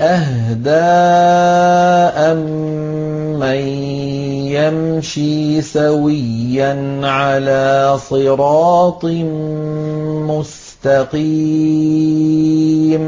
أَهْدَىٰ أَمَّن يَمْشِي سَوِيًّا عَلَىٰ صِرَاطٍ مُّسْتَقِيمٍ